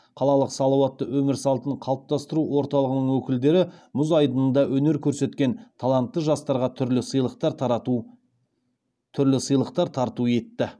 қалалық салауатты өмір салтын қалыптастыру орталығының өкілдері мұз айдынында өнер көрсеткен таланатты жастарға түрлі сыйлықтар тарту етті